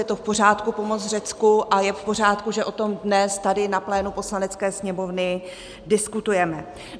Je to v pořádku, pomoct Řecku, a je v pořádku, že o tom dnes tady na plénu Poslanecké sněmovny diskutujeme.